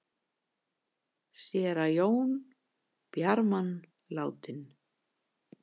Séra Jón Bjarman látinn